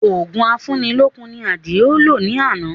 Òògùn afúni lókun ni Àdìó lò ní àná